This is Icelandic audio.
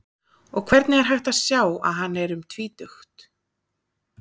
Og hvernig er hægt að sjá að hann er um tvítugt?